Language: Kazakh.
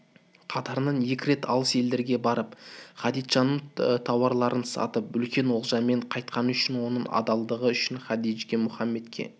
қатарынан екі рет алыс елдерге барып хадиджаның тауарларын сатып үлкен олжамен қайтқаны үшін оның адалдығы үшін хадиджа мұхаммедке